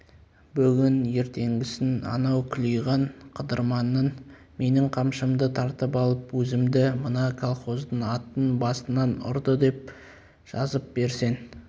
бүгін ертеңгісін анау күлиган қыдырманның менің қамшымды тартып алып өзімді мына колхоздың атын басынан ұрды деп жазып берсең